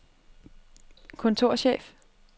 kontorchef